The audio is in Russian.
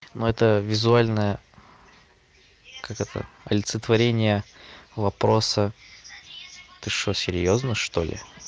ну это визуальное как это олицетворение вопроса ты что серьёзно что ли